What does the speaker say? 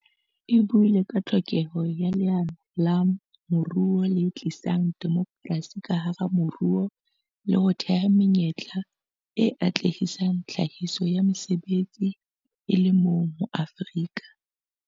E buile ka tlhokeho ya leano la moruo le tlisang demokrasi ka hara moruo le ho thea menyetla e atlehisang tlhahiso ya mesebetsi, e le moo Maafrika